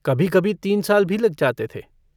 कभीकभी तीन साल भी लग जाते थे।